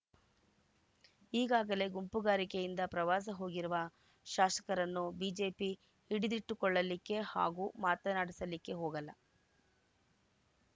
ಈಗಾಗಲೇ ಗುಂಪುಗಾರಿಕೆಯಿಂದ ಪ್ರವಾಸ ಹೋಗಿರುವ ಶಾಸಕರನ್ನು ಬಿಜೆಪಿ ಹಿಡಿದಿಟ್ಟುಕೊಳ್ಳಲಿಕ್ಕೆ ಹಾಗೂ ಮಾತನಾಡಿಸಲಿಕ್ಕೆ ಹೋಗಲ್ಲ